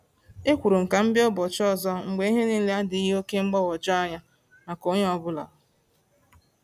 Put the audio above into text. Ekwuru m ka m bịa n’ụbọchị ọzọ mgbe ihe niile adịghị oke mgbagwoju anya maka onye ọ bụla.